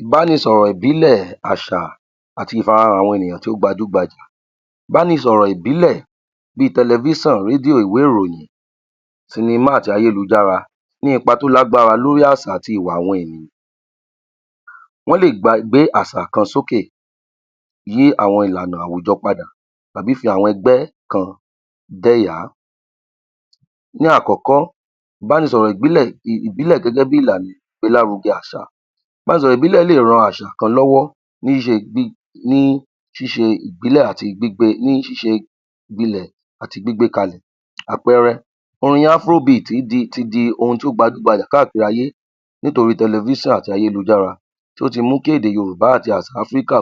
Ìbánisọ̀rọ̀ ìbílẹ̀ àṣà àti ìfarahàn àwọn ènìyàn tí ó gbajú gbajà, ìbánisọ̀rọ̀ ìbílẹ̀ bí tẹlẹfíṣàn, rédiò, ìwé ìròyìn, sinimá àti ayélujára ní ipa tí ó lágbára lórí àṣà àti ìwà àwọn ènìyàn, wọ́n lè gba gbé àṣà kan sókè, yí àwọn ìlànà àwùjọ padà tàbí fi àwọn ẹgbẹ́ kan dẹ́yàá. Ní àkọ́kọ́, ìbánisọ̀rọ̀ ìbílẹ̀ gẹ́gẹ́ bí ìlànà ìgbélárugẹ àṣà. Ìbanísọ̀rọ̀ lè ran àṣà kan lọ́wọ́ ní ṣíṣe àti gbígbé kalẹ̀, àpẹẹrẹ, orin (Afro Beat) ti di ohun tó gbajú-gbajà káàkiri ayé nítorí tẹlẹfíṣàn àti ayélujára tí ó ti mú kí èdè Yorùbá àti àṣà Áfíríkà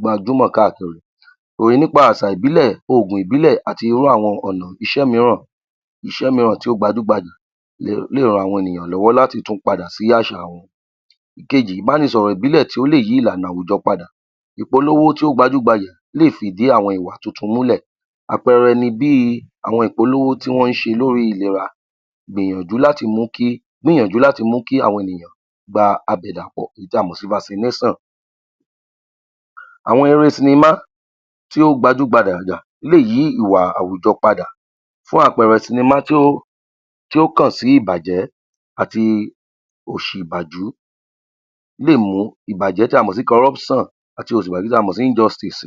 gbajúmọ̀ káàkiri. Orin nípa, àṣà ìbílẹ̀, ògùn ìbílẹ̀ àti irú àwọn ọ̀nà iṣẹ́ míràn tí ó gbajú-gbajà lè ran àwọn ènìyàn lọ́wọ́ láti tún padà sí àṣà wọn. Ìkejì, ìbánisọ̀rọ̀ ìbílẹ̀ tí ó lè yí ìlànà àwùjọ padà, ìpolówó tí ó gbajú-gbajà lè fìdí àwọn ìwà tuntun múlẹ̀, àpẹẹrẹ ni bí àwọn ìpolówó tí wọ́n ń ṣe lórí ìlera ń gbìyànjú láti mú kí àwọn ènìyàn gba àbèdàpọ̀ tí a mọ̀ sí (Vaccination). Àwọn eré sinimá tí ó gbajú-gbajà lè yí ìwà àwùjọ padà, fún àpẹẹrẹ, sinimá tí ó kàn sí ìbàjẹ́ àti òṣì lè mú ìbàjẹ́ tí a mọ̀ sí (Corruption) àti òṣì ìbàjẹ́ tí a mọ̀ ní (Injustice)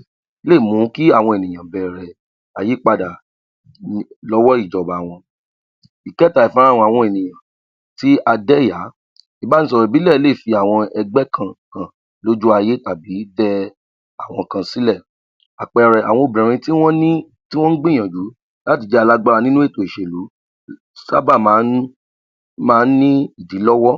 lè mú kí àwọn ènìyàn bẹ̀rẹ̀ àyípadà lọ́wọ́ ìjọba wọn. Ị̀kẹ́ta, ìfarahàn àwọn ènìyàn tí a dẹ́yàá, ìbánisọ̀rọ̀ ìbílẹ̀ lè fi àwọn ẹgbẹ́ kan hàn lójú ayé tàbí dẹ àwọn kan sílẹ̀, àpẹẹrẹ, àwọn obìnrin tí wọ́n ní, tí wọ́n gbìyànjú láti jẹ́ alágbára nínú ètò ìṣèlú sábà máa ń ní ìdí lọ́wọ́,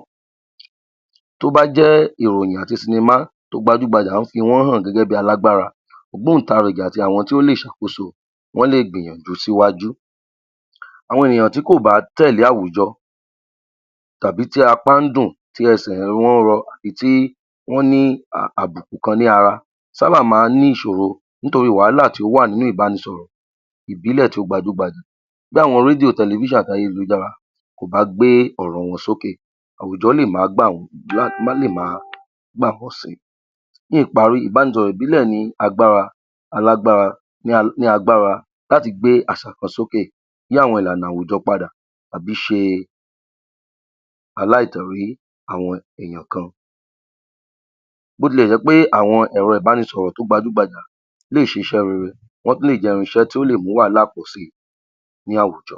tó bá jẹ́ ìròyìn àti sinimá tó gbajú-gbajà ń fi wọ́n hàn gẹ́gẹ́ bí alágbára, ògbóǹtarigì àti àwọn tí ó lè ṣàkóso, wọ́n lè gbìyànjú síwájú. Àwọn ènìyàn tí kò bá tẹ̀lé àwùjọ tàbí tí apá ń dùn, tí ẹsẹ̀ wọ́n rọ àbí tí wọ́n ní àbùkùn kan ní ara sábà máa ń ní ìṣoro nítorí wàhálà tí ó wà ní ìbánisọ̀rọ̀ ìbílẹ̀ tí ó gbajú-gbajà bí àwọn rédíò, tẹlẹfíṣàn àti ayélujára kó bá gbé ọ̀rọ̀ wọn sókè àwùjọ lè má gbà wọ́n. Ní ìparí, ìbánisọ̀rọ̀ ìbílẹ̀ ni agbára láti gbé àṣà kan sókè, yí àwọn ìlànà àwùjọ padà àbí ṣe aláìtẹ̀ orí àwọn èyàn kan, bó ti lè jẹ́ wípé àwọn ẹ̀rọ ìbánisọ̀rọ̀ tó gabjú-gbajà lè ṣiṣẹ́ rere wọ́n tún lè jẹ́ irin iṣẹ́ tí ó lè jẹ́ kí wàhálà pọ̀ si ní àwùjọ.